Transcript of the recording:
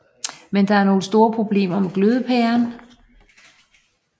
Men der var nogle store problemer med glødepæren